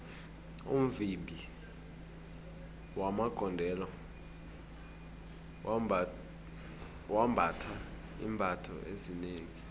umvimbi magondelo wembatha iimbatho ezinengi